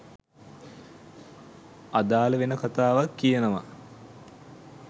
අදාළ වෙන කතාවක් කියනවා